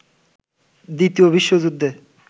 দ্বিতীয় বিশ্বযুদ্ধে